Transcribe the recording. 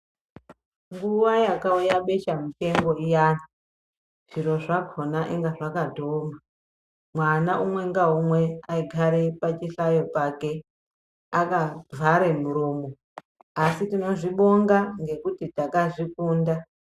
Nguwa yakauya besha mupengo iyani, zviro zvakona inga zvakatooma. Mwana umwe ngaumwe aigare pachihlayo pake, akavhare muroomo asi tinozvibonga ngekuti ndakazvikunda.